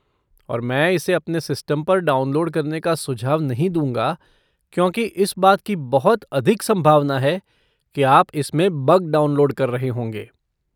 और मैं इसे अपने सिस्टम पर डाउनलोड करने का सुझाव नहीं दूँगा क्योंकि इस बात की बहुत अधिक संभावना है कि आप इसमें बग डाउनलोड कर रहे होंगे।